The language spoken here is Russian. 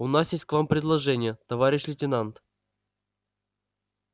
у нас есть к вам предложение товарищ лейтенант